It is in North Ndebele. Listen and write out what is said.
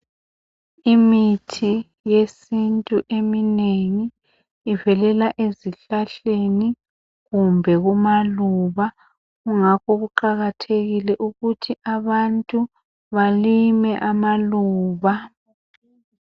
Imithi yesintu eminengi ivelela ezihlahleni kumbe amaluba. Ngakho kuqakathekileke ukuthi abantu balime amaluba.